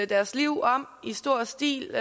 deres liv om i stor stil